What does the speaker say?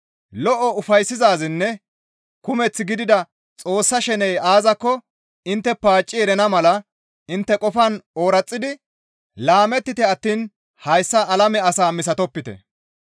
Lo7o, ufayssizaazinne kumeth gidida Xoossa sheney aazakko intte paacci erana mala intte qofan ooraxidi laamettite attiin hayssa alame asaa misatopite.